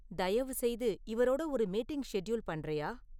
தயவுசெய்து இவரோட ஒரு மீட்டிங் ஷெட்யூல் பண்றியா?